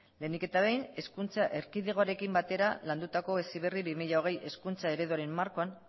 lehenik eta behin hezkuntza erkidegoarekin batera landutako heziberri bi mila hogei hezkuntza ereduaren markoan